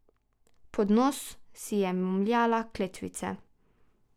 Pod nos si je momljala kletvice.